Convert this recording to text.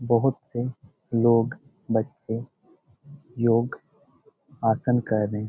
बहुत से लोग बच्चे योग आसन कर रहे है।